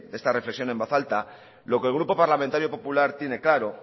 de esta reflexión en voz alta lo que el grupo parlamentario popular tiene claro